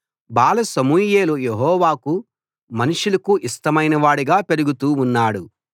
బాల సమూయేలు యెహోవాకూ మనుష్యులకూ ఇష్టమైనవాడుగా పెరుగుతూ ఉన్నాడు